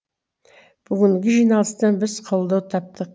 бүгінгі жиналыстан біз қолдау таптық